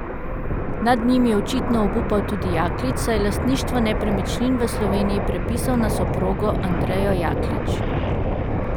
Nad njim je očitno obupal tudi Jaklič, saj je lastništvo nepremičnin v Sloveniji prepisal na soprogo Andrejo Jaklič.